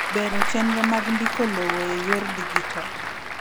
Bero chenro mag ndiko lowo e yor dijital.